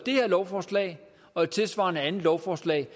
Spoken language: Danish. her lovforslag og et tilsvarende andet lovforslag